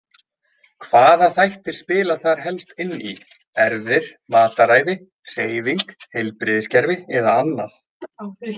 Hvaða þættir spila þar helst inn í, erfðir, mataræði, hreyfing, heilbrigðiskerfi eða annað?